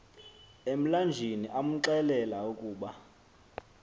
emlanjeni amxelela ukuba